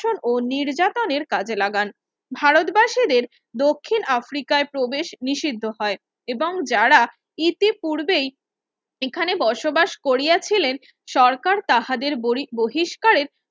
সন ও নির্যাতনের কাজে লাগান ভারতবাসীদের দক্ষিণ আফ্রিকায় প্রবেশ নিষিদ্ধ হয় এবং যারা ইতি পূর্বেই এখানে বসবাস করিয়াছিলেন সরকার তাঁহাদের বরি বহিস্কারের